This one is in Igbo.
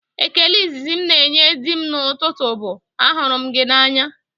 Ekele izizi m na-enye di m n'ụtụtụ bụ, "ahụrụ m gị n'anya"